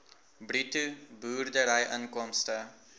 bruto boerderyinkomste